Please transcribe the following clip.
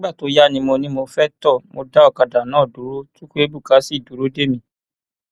nígbà tó yá ni mo ní mo fẹẹ tó mo dá ọkadà náà dúró chukwuebuka sì dúró dè mí